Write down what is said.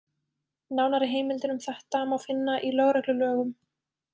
Nánari heimildir um þetta má finna í lögreglulögum.